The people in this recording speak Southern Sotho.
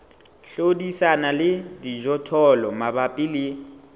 hlodisana le dijothollo mabapi le